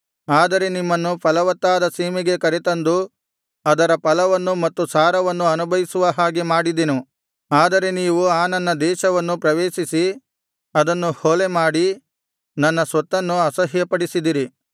ನಾನು ನಿಮ್ಮನ್ನು ಫಲವತ್ತಾದ ಸೀಮೆಗೆ ಕರೆತಂದು ಅದರ ಫಲವನ್ನು ಮತ್ತು ಸಾರವನ್ನು ಅನುಭವಿಸುವ ಹಾಗೆ ಮಾಡಿದೆನು ಆದರೆ ನೀವು ಆ ನನ್ನ ದೇಶವನ್ನು ಪ್ರವೇಶಿಸಿ ಅದನ್ನು ಹೊಲೆ ಮಾಡಿ ನನ್ನ ಸ್ವತ್ತನ್ನು ಅಸಹ್ಯಪಡಿಸಿದಿರಿ